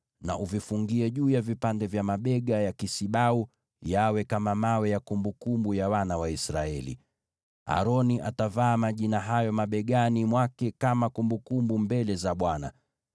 na uvifungie juu ya vipande vya mabega ya kisibau yawe kama vito vya ukumbusho kwa wana wa Israeli. Aroni atavaa majina hayo mabegani mwake kama kumbukumbu mbele za Bwana .